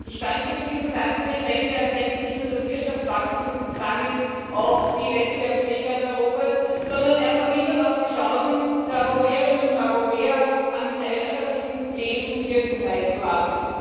Ich danke für diesen Satz, denn ich denke, dies reduziert nicht nur das Wirtschaftswachstum und damit auch die Wettbewerbsfähigkeit Europas, sondern es vermindert auch die Chancen der Europäerinnen und Europäer, am gesellschaftlichem Leben und Wirken teilzuhaben.